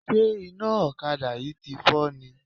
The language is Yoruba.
Ṣé iná ọ̀kadà yìí tí fọ́ ni?